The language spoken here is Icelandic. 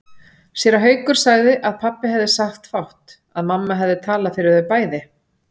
Séra Haukur sagði að pabbi hefði sagt fátt, að mamma hefði talað fyrir þau bæði.